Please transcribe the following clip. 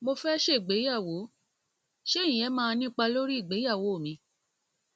mo fẹ ṣègbéyàwó ṣé ìyẹn máa nípa lórí ìgbéyàwó mi